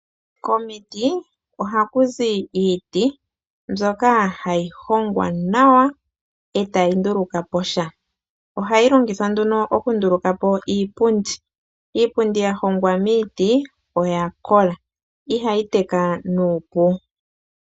Komiti oha kuzi iiti mbyoka hayi hongwa nawa e tayi nduluka po sha. Ohayi longithwa nduno oku nduluka po iipundi, iipundi ya hongwa miiti oya kola ihayi teka nuupu.